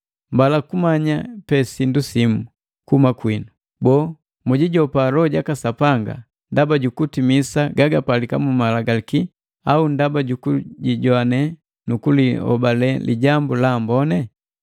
Mbala kumanya pe sindu simu kuhuma kwinu: Boo, mujijopa Loho jaka Sapanga ndaba jukutimisa gagapalika mu Malagalaki au ndaba jukujijoane nukulihobale Lijambu la Amboni?